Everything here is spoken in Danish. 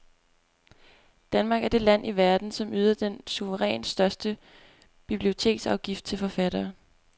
Danmark er det land i verden, som yder den suverænt største biblioteksafgift til forfattere.